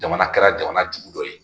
Jamana kɛra jamana jugu dɔ ye